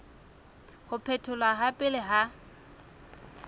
ho phetholwa ha pele ha